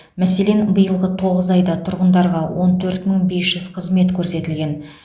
мәселен биылғы тоғыз айда тұрғындарға он төрт мың бес жүз қызмет көрсетілген